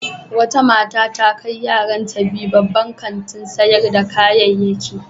Wata mata ta kai yaranta guda biyu wani babban kantin sayar da kayayyaki.